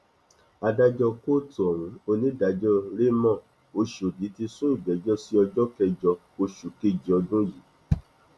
adájọ kóòtù ohun onídàájọ ramón ọshọdì ti sún ìgbẹjọ sí ọjọ kẹjọ oṣù kejì ọdún yìí